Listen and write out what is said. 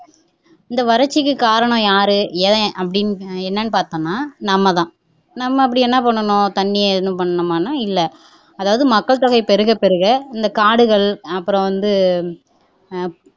இந்த வறட்சிக்கு காரணம் யாரு எவன் அப்படின்னு என்னன்னு பாத்தோம்னா நம்மதான் நம்ம அப்படி என்ன பண்ணுனோம் தண்ணிய ஏதும் பண்ணினோமானா இல்லை அதாவது மக்கள் தொகை பெருக பெருக இந்த காடுகள் அப்புறம் வந்து அஹ்